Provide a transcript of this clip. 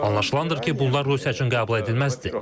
Anlaşılındır ki, bunlar Rusiya üçün qəbul edilməzdir.